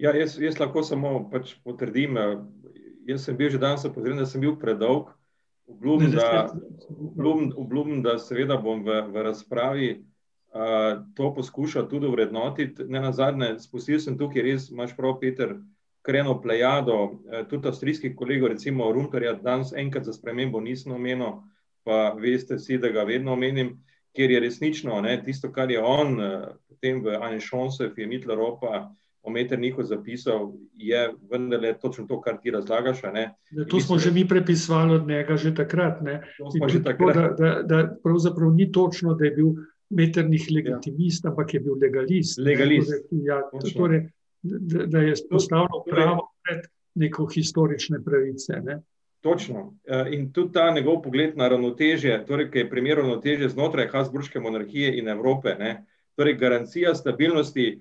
jaz lahko samo pač potrdim, jaz sem bil že danes opozorjen, da sem bil predolg, obljubim, da, obljubim, da seveda bom v razpravi, to poskušal tudi ovrednotiti, nenazadnje spustil sem tukaj res, imaš prav, Peter, kar eno plejado, tudi avstrijskih kolegov, recimo danes enkrat za spremembo nisem omenil, pa veste vsi, da ga vedno omenim, kjer je resnično, a ne, tisto, kar je on, Evropa o Metternichu zapisal, je vendarle točno to, kar ti razlagaš, a ne. [anonimiziran govor] Točno, in tudi ta njegov pogled na ravnotežje, torej ki je primerjal ravnotežje znotraj habsburške monarhije in Evrope, ne, torej garancija stabilnosti,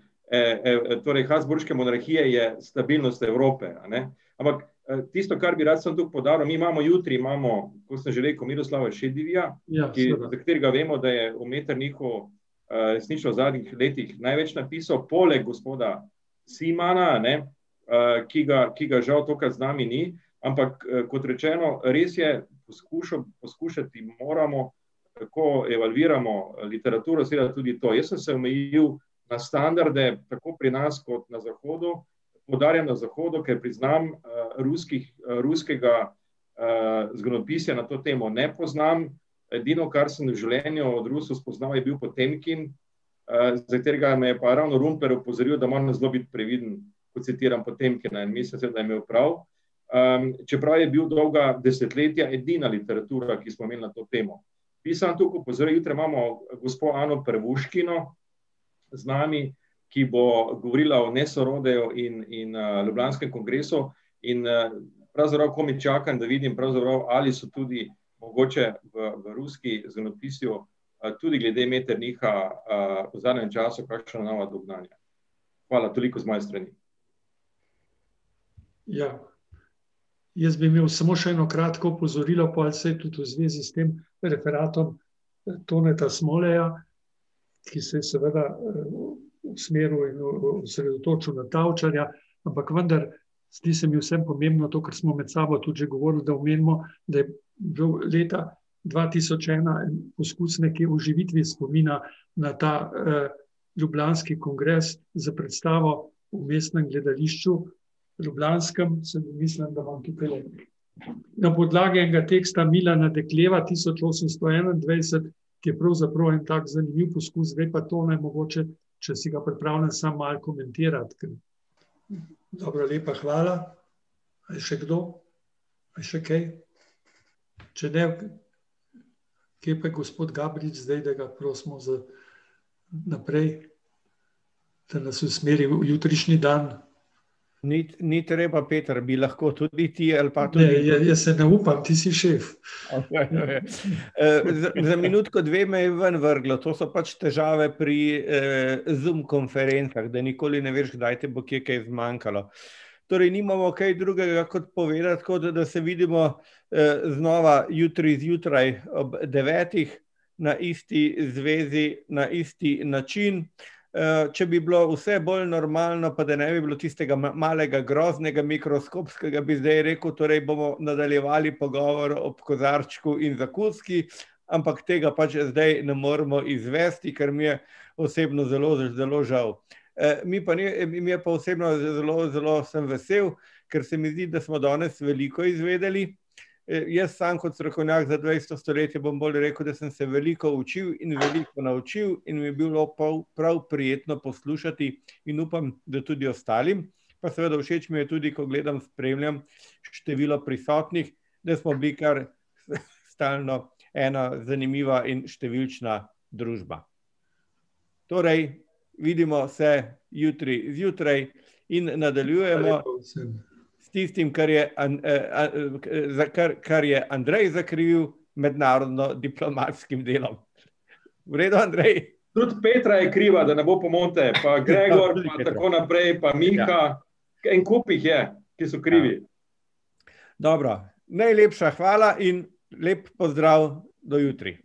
torej habsburške monarhije je stabilnost Evrope, a ne. Ampak, tisto, kar bi rad samo to poudaril, mi imamo jutri, imamo kot sem že rekel, Miroslava , ki za, katerega vemo da, je o Metternichu, resnično v zadnjih letih največ napisal poleg gospoda Simana, a ne, ki ga, ki ga žal tokrat z nami ni, ampak, kot rečeno, res je, poskušati moramo, kako evalviramo literaturo, seveda tudi to ... Jaz sem se omejil na standarde tako pri nas kot na zahodu, poudarjam na zahodu, ker priznam, ruskih, ruskega, zgodovinopisja na to temo ne poznam, edino, kar sem v življenju od Rusov spoznal, je bil Potemkin, za katerega me je pa ravno opozoril, da moram zelo biti previden, ko citiram Potemkina, da je imel prav, čeprav je bil dolga desetletja edina literatura, ki smo jo imeli na to temo. Jaz samo toliko opozorim, jutri imamo gospo Ano Pervuškino z nami, ki bo govorila o in, in, ljubljanskem kongresu, in pravzaprav komaj čakam, da vidim pravzaprav, ali so tudi mogoče v ruskem zgodovinopisju, tudi glede Metternicha, v zadnjem času kakšna nova dognanja. Hvala, toliko z moje strani. [anonimiziran govor] Ni, ni treba, Peter, bi lahko tudi bi ti ali pa ... za minutko, dve me je ven vrglo, to so pač težave pri, Zoom konferencah, da nikoli ne veš, kdaj te bo kje kaj zmanjkalo. Torej nimamo kaj drugega kot povedati, tako da, da se vidimo, znova jutri zjutraj ob devetih na isti zvezi, na isti način. če bi bilo vse bolj normalno, pa da ne bi bilo tistega malega groznega mikroskopskega, bi zdaj rekel, torej bomo nadaljevali pogovor ob kozarčku in zakuski, ampak tega pač zdaj ne moremo izvesti, kar mi je osebno zelo zelo žal. mi pa mi pa osebno, zelo zelo sem vesel, ker se mi zdi, da smo danes veliko izvedeli, jaz samo kot strokovnjak za dvajseto stoletje bom bolj rekel, da sem se veliko učil in veliko naučil in mi je bilo prav prijetno poslušati in upam, da tudi ostalim. Pa seveda všeč mi je tudi, ko gledam, spremljam število prisotnih, da smo bili kar stalno ena zanimiva in številčna družba. Torej vidimo se jutri zjutraj in nadaljujemo s tistim, kar je za kar, kar je Andrej zakrivil, mednarodno diplomatskim delom. V redu, Andrej? Tudi Petra je kriva, da ne bo pomote, pa Gregor pa tako naprej, pa Miha, en kup jih je, ki so krivi. Dobro. Najlepša hvala in lep pozdrav do jutri.